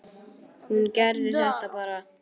Hún gerði þetta bara.